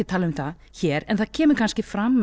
tala um það hér en það kemur kannski fram